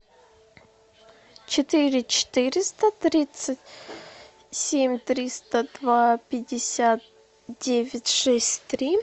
четыре четыреста тридцать семь триста два пятьдесят девять шесть три